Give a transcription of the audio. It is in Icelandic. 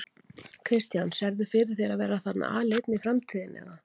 Kristján: Sérðu fyrir þér að vera þarna aleinn í framtíðinni eða?